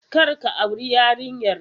Kar ka auri yarinyar!